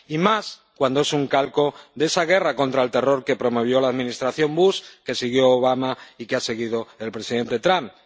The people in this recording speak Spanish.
Y más cuando es un calco de esa guerra contra el terror que promovió la Administración Bush, que siguió Obama, y que ha seguido el presidente Trump.